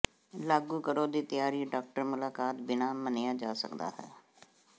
ਲਾਗੂ ਕਰੋ ਦੀ ਤਿਆਰੀ ਡਾਕਟਰ ਮੁਲਾਕਾਤ ਬਿਨਾ ਮੰਨਿਆ ਜਾ ਸਕਦਾ ਹੈ